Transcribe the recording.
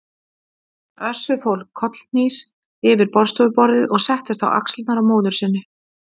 Össur fór kollhnís yfir borðstofuborðið og settist á axlirnar á móður sinni.